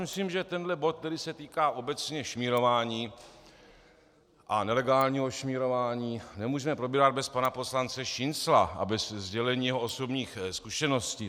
Myslím, že tento bod, který se týká obecně šmírování a nelegálního šmírování, nemůžeme probírat bez pana poslance Šincla a bez sdělení jeho osobních zkušeností.